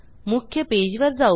मुख्य पेजवर जाऊ